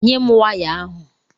Nyé m waya ahụ!!